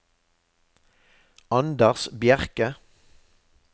Anders Bjerke